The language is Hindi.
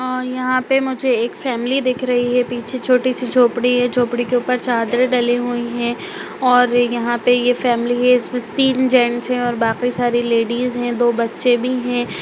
और यहां पे मुझे एक फैमिली दिख रही है पीछे छोटी सी झोपड़ी है झोपड़ी के ऊपर चादर डाले हुए हैं और यहाँ पर फैमिली है तीन जेंस है और सारे बाकी लेडिस हैं दो बच्चे भी हैं।